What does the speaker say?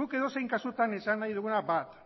guk edozein kasutan esan nahi duguna bat